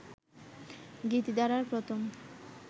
গীতিধারার প্রথম